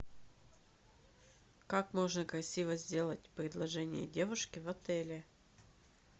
как можно красиво сделать предложение девушке в отеле